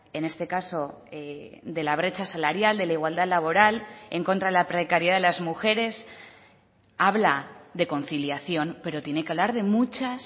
en este caso de la brecha salarial de la igualdad laboral en contra de la precariedad de las mujeres habla de conciliación pero tiene que hablar de muchas